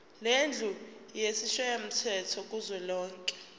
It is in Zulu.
lendlu yesishayamthetho kuzwelonke